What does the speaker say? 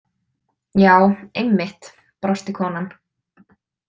Já, einmitt, brosti konan.